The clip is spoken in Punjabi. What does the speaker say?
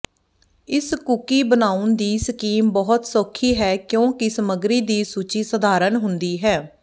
ਇਸ ਕੂਕੀ ਬਣਾਉਣ ਦੀ ਸਕੀਮ ਬਹੁਤ ਸੌਖੀ ਹੈ ਕਿਉਂਕਿ ਸਮੱਗਰੀ ਦੀ ਸੂਚੀ ਸਧਾਰਨ ਹੁੰਦੀ ਹੈ